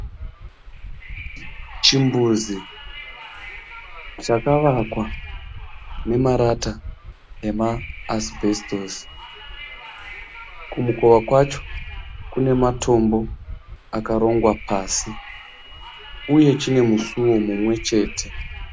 Chimbuzi chakavakwa nemarata emaasibhesitosi. Kumukova kwacho kune matombo akarongwa pasi uye chine musuwo mumwe chete